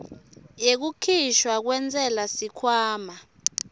yekukhishwa kwentsela sikhwama